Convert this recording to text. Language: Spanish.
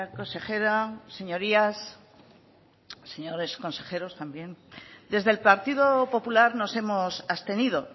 consejera señorías señores consejeros también desde el partido popular nos hemos abstenido